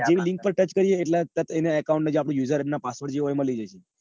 Link ઉપર touch કરીએ એટલે એના account ના userid ને password જે હોય એ મળી જશે.